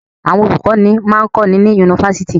Àwọn olùkọ́ní máa ń kọ́ni ní yunifásitì.